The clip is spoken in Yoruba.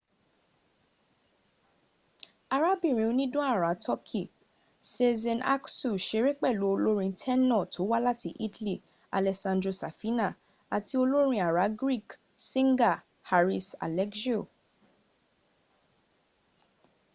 arabirin onidan ara turkeyi sezen aksu seré pẹ̀lú olórin tẹ́nọ̀ tó wá láti italy alessandro safina ati olorin ara greek singer haris alexiou